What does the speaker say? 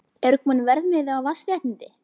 Er kominn verðmiði á vatnsréttindi?